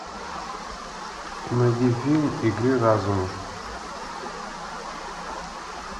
найди фильм игры разума